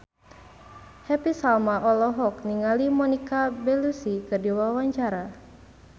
Happy Salma olohok ningali Monica Belluci keur diwawancara